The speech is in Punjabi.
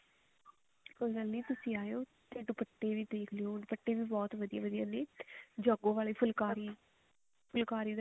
ਕੋਈ ਗੱਲ ਨੀ ਤੁਸੀਂ ਆਓ ਤੇ ਦੁਪੱਟੇ ਦੇਖ ਲਿਓ ਦੁਪੱਟੇ ਵੀ ਬਹੁਤ ਵਧੀਆ ਵਧੀਆ ਨੇ ਜਾਗੋ ਵਾਲੀ ਫੁਲਕਾਰੀ ਫੁਲਕਾਰੀ